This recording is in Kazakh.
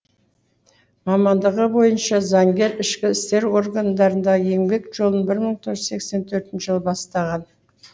мамандығы бойынша заңгер ішкі істер органдарындағы еңбек жолын бір мың тоғыз жүз сексен төртінші жылы бастаған